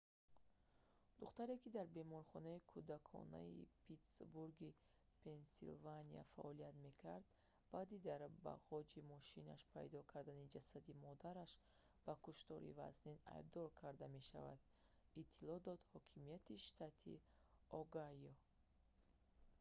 духтуре ки дар беморхонаи кӯдаконаи питтсбурги пенсилвания фаъолият мекард баъди дар бағоҷи мошинаш пайдо кардани ҷасади модараш ба куштори вазнин айбдор карда мешавад иттилоъ доданд ҳокимияти штати огайо